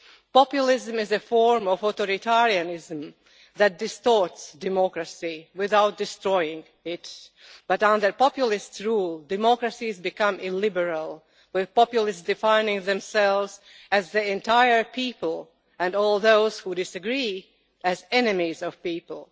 Populism is a form of authoritarianism that distorts democracy without destroying it, but under populist rule, democracies become illiberal, with populists defining themselves as the entire people, and all those who disagree as enemies of the people.